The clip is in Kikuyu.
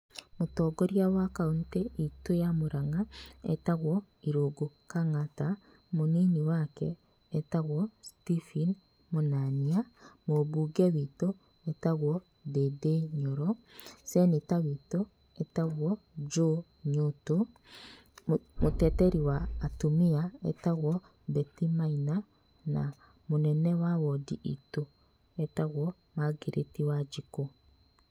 Mũtongoria wa kauntĩ itũ ya Mũrang'a etagwo Irũngũ Kang'ata, Mũnini wake etagwo Stephen Mũnania, Mũbunge witũ etagwo Ndĩndĩ Nyoro, Ceneta witũ etagwo Joe Nyotu, mũteteri wa atumia etagwo Betty Maina na mũnene wa wondi itũ etagwo Margaret Wanjikũ.